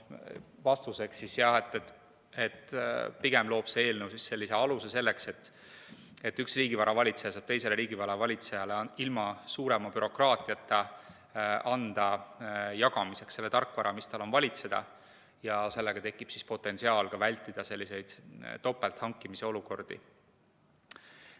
Vastuseks öeldi, et jah, pigem loob see eelnõu aluse selleks, et üks riigivara valitseja saab teisele riigivara valitsejale ilma suurema bürokraatiata anda jagamiseks selle tarkvara, mis tal on valitseda, ja sellega tekib potentsiaal ka vältida selliseid topelt hankimise olukordi.